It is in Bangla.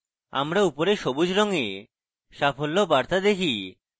আমরা উপরে সবুজ রঙে সাফল্য বার্তা দেখি